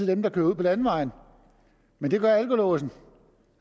dem der kører ude på landevejene men det gør alkolåsen